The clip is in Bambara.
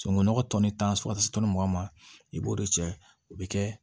Sunungunɔgɔ tɔnni tan so ka se mugan ma i b'o de cɛ o bɛ kɛ